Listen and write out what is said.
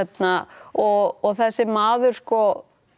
og þessi maður sko